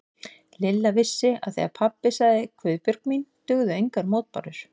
Lilla vissi að þegar pabbi sagði Guðbjörg mín dugðu engar mótbárur.